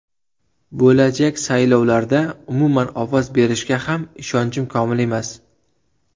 Bo‘lajak saylovlarda umuman ovoz berishga ham ishonchim komil emas.